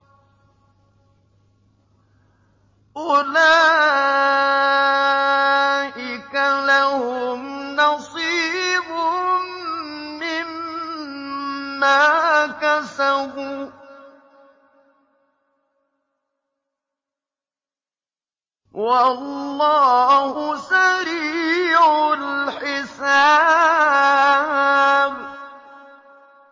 أُولَٰئِكَ لَهُمْ نَصِيبٌ مِّمَّا كَسَبُوا ۚ وَاللَّهُ سَرِيعُ الْحِسَابِ